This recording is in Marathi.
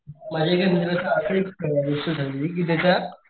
माझ्या एक मित्राची अस एक गोष्ट झाली कि त्याच्या,